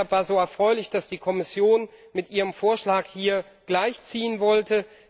Deshalb war so erfreulich, dass die Kommission mit ihrem Vorschlag hier gleichziehen wollte.